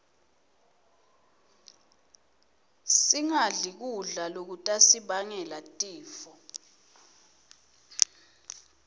singadli kudla lokutasibangela tifo